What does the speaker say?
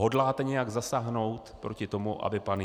Hodláte nějak zasáhnout proti tomu, aby pan